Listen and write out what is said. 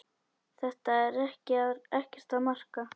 Þetta er ekkert að marka.